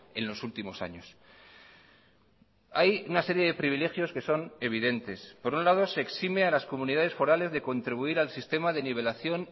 en los últimos años hay una serie de privilegios que son evidentes por un lado se exime a las comunidades forales de contribuir al sistema de nivelación